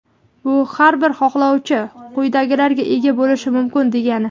Bu – har bir xohlovchi quyidagilarga ega bo‘lishi mumkin degani:.